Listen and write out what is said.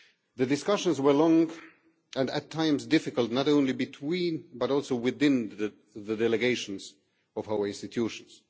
The discussions were long and at times difficult, not only between but also within the delegations of our institutions.